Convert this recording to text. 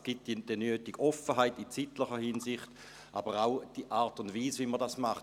» Es gibt die nötige Offenheit in zeitlicher Hinsicht, aber auch die Art und Weise, wie man das macht.